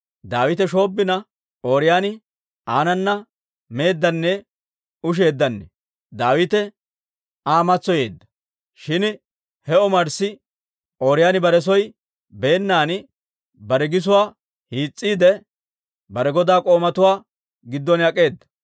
Daawite shoobbina, Ooriyooni aanana meeddanne usheeddanne. Daawite Aa matsoyeedda. Shin he omarssi Ooriyooni bare soo beennan, bare gisuwaa hiis's'iide, bare godaa k'oomatuwaa giddon ak'eeda.